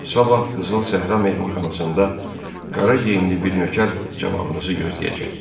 Sabah Qızıl Səhra mehmanxanasında qara geyimli bir nökər cavabınızı gözləyəcək.